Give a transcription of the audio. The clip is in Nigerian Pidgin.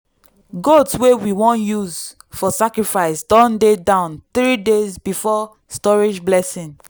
goat wey we wan use for sacrifice don dey down 3 days before storage blessing.